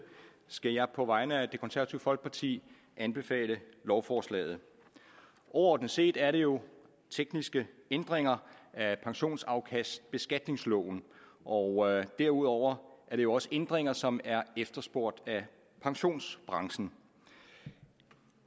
skal jeg på vegne af det konservative folkeparti anbefale lovforslaget overordnet set er det jo tekniske ændringer af pensionsafkastbeskatningsloven og derudover er det jo også ændringer som er efterspurgt af pensionsbranchen